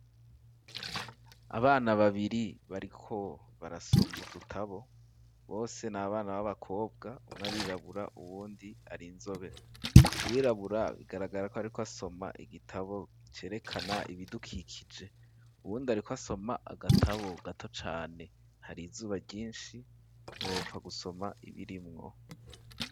Abana babiri bariko barasoma udutabo bose n'abana baba kobwa umwe arirabura uwundi ari inzobe uwirabura bigaragara ko ariko asoma igitabo cerekana ibidukikije uwundi ariko asoma agatabo gato cane hari izuba ryishi ntiwopfa gusoma ibirimwo.